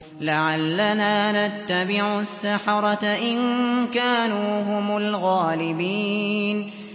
لَعَلَّنَا نَتَّبِعُ السَّحَرَةَ إِن كَانُوا هُمُ الْغَالِبِينَ